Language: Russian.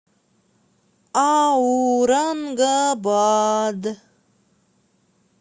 аурангабад